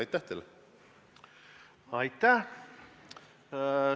Aitäh!